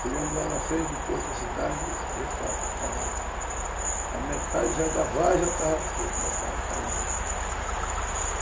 Chegamos lá na frente do porto da cidade e, de fato, a metade da vargem já estava caída.